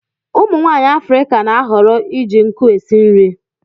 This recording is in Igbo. Umu nwaanyi Afirika na-ahọrọ iji nkụ esi nri.